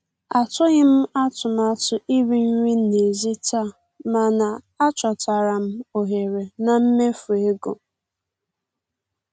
Atụghị m atụmatụ iri nri n'èzí taa, mana achọtara m ohere na mmefu ego.